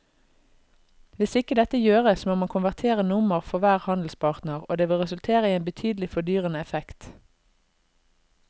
Hvis ikke dette gjøres må man konvertere nummer for hver handelspartner og det vil resultere i en betydelig fordyrende effekt.